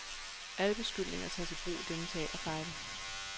Alle beskyldninger tages i brug i denne teaterfejde.